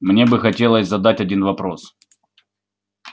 мне бы хотелось задать один вопрос